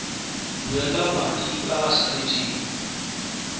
duela madi a a salatseng